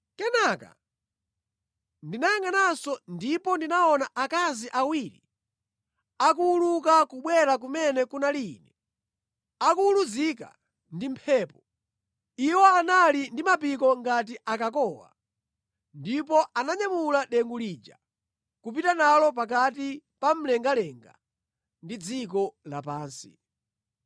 Kenaka ndinayangʼananso, ndipo ndinaona akazi awiri akuwuluka kubwera kumene kunali ine; akuwuluzika ndi mphepo. Iwo anali ndi mapiko ngati a kakowa, ndipo ananyamula dengu lija, kupita nalo pakati pa mlengalenga ndi dziko lapansi.